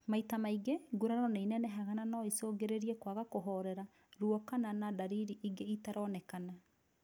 Maita maingĩ, nguraro nĩinenehaga na no icũngĩrĩrie kwaga kũhorera , ruo kana na ndariri ingĩ itaroneka